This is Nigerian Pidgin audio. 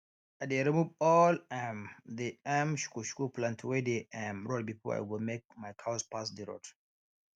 i dey remove all um the um shukushuku plants wey dey um road before i go make my cows pass d road